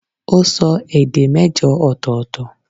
ó sọ èdè mẹ́jọ ọ̀tọ̀ọ̀tọ̀